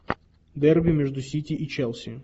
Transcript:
дерби между сити и челси